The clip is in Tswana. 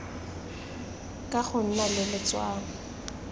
ka go nna le letshwao